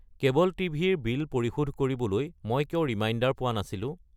Cable TV ৰ bill পৰিশোধ কৰিবলৈ মই কিয় ৰিমাইণ্ডাৰ পোৱা নাছিলো?